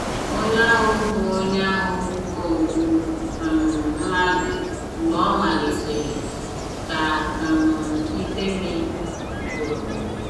“ Onye ahụ bụ Onye ahụ bụ ogbu um mmadụ mgbe ọ malitere ,ka um ifemi kwuru.